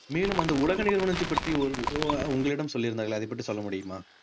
மேலும் அந்த உலக நிறுவனத்தை பற்றி உங்~ உங்க~ உங்களிடம் சொல்லியிருந்தார்களே அதைப் பற்றி சொல்ல முடியுமா